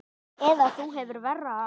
Eða þú hefur verra af